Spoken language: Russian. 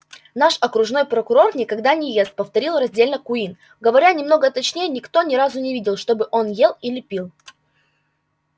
наш окружной прокурор никогда не ест повторил раздельно куинн говоря немного точнее никто ни разу не видел чтобы он ел или пил